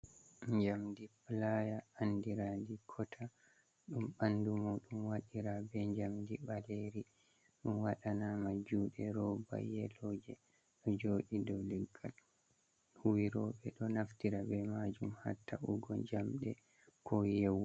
Jamdi playa andira di kotta ɗum ɓanɗu muɗum waɗira be jamdi ɓaleri, ɗum waɗa nama juɗe roba yeloje, ɗo joɗi dou leggal huwiroɓe ɗo naftira be majum hatta ugo jamɗe ko yewu go.